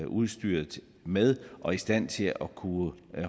udstyret med og i stand til at kunne